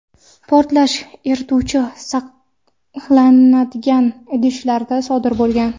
portlash erituvchi saqlanadigan idishlarda sodir bo‘lgan.